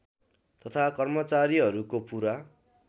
तथा कर्मचारीहरूको पूरा